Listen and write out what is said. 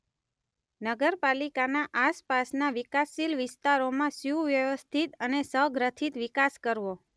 નગરપાલિકાના આસપાસના વિકાસશીલ વિસ્તારોમાં સુવ્યવસ્થિત અને સગ્રથિત વિકાસ કરવો.